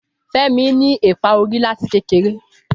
Fẹmi ní eepa orí láti kékeré